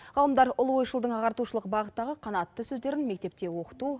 ғалымдар ұлы ойшылдың ағартушылық бағыттағы қанатты сөздерін мектепте оқыту